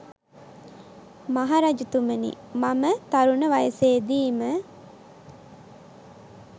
මහ රජතුමනි, මම තරුණ වයසේ දීම